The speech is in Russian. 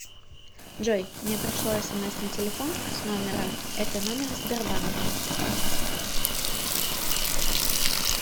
джой мне пришло смс на телефон с номера это номер сбербанка